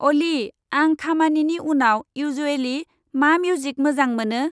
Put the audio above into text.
अली, आं खामानिनि उनाव इउज्वेलि मा मिउजिक मोजां मोनो?